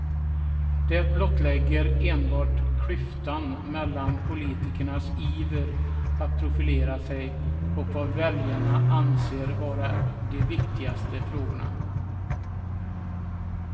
Det blottlägger enbart klyftan mellan politikernas iver att profilera sig och vad väljarna anser vara de viktigaste frågorna.